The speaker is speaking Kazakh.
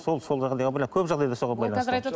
сол сол көп жағдайда соған байланысты